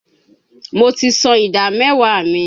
Mo ti san ìdá mẹ́wàá mi.